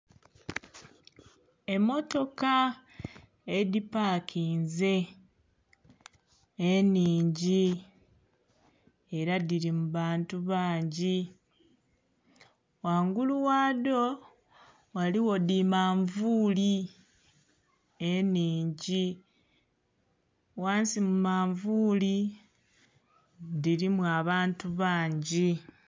Emmotoka edhipakinze enhingi era dhiri mubantu bangi ghangulu ghadho ghaligho dhimanvuli enhingi ghansi mumanvuli dhirimu abantu bangi.